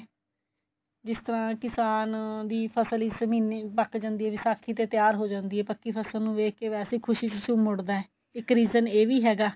ਜਿਸ ਤਰ੍ਹਾਂ ਕਿਸਾਨ ਦੀ ਫਸਲ ਇਸ ਮਹੀਨੇ ਪੱਕ ਜਾਂਦੀ ਏ ਵਿਸਾਖੀ ਤੇ ਤਿਆਰ ਹੋ ਜਾਂਦੀ ਏ ਪਕੀ ਫਸਲ ਨੂ ਵੇਖ ਕੇ ਵੈਸੇ ਹੀ ਖੁਸ਼ੀ ਚ ਝੁੰਮ ਉਠਦਾ ਇੱਕ reason ਇਹ ਵੀ ਹੈਗਾ